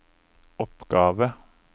oppgave